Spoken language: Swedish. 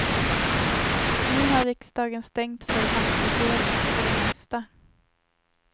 Nu har riksdagen stängt för nattvotering, för det mesta.